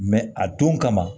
a don kama